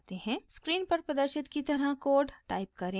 screen पर प्रदर्शित की तरह कोड टाइप करें